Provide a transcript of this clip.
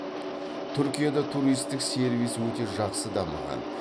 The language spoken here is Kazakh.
түркияда туристік сервис өте жақсы дамыған